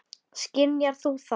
Skynjar þú það?